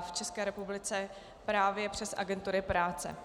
v České republice právě přes agentury práce.